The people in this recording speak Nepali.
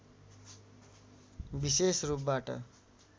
विशेष रूपबाट